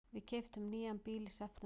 Við keyptum nýjan bíl í september.